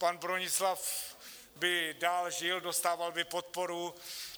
Pan Bronislav by dál žil, dostával by podporu.